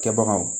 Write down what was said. Kɛbagaw